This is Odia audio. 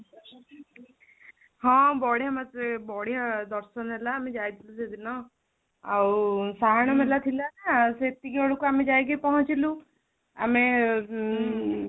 ହଁ ବଢିଆ ମତେ ବଢିଆ ଦର୍ଶନ ହେଲା ଆମେ ଯାଇଥିଲୁ ସେଦିନ ଆଉ ସାହାଣ ମେଳା ଥିଲା ନା ସେତିକି ବେଳୁକୁ ଆମେ ଯାଇକି ପହଞ୍ଚିଲୁ ଆମେ ଉଁ